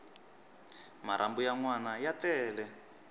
marhambu ya nwana ya tele